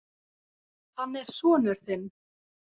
Hann er sonur þinn.